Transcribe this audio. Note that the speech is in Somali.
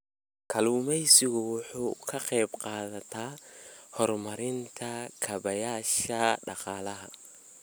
Kalluumaysigu waxa uu ka qayb qaataa horumarinta kaabayaasha dhaqaalaha.